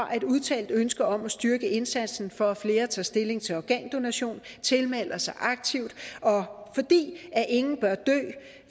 har et udtalt ønske om at styrke indsatsen for at flere tager stilling til organdonation tilmelder sig aktivt fordi ingen bør dø